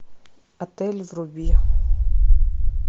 отель вруби